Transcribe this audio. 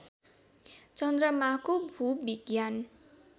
चन्द्रमाको भूविज्ञान